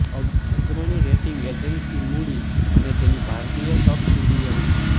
અગ્રણી rating agency Moody's અને તેની ભારતીય સબસિડિયરી